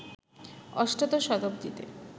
অষ্টাদশ শতাব্দীতে